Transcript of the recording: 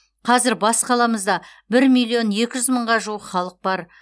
қазір бас қаламызда бір миллион екі жүз мыңға жуық халық бар